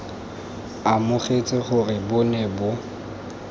amogetse gore bo ne bo